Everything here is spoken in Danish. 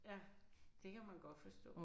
Ja det kan man godt forstå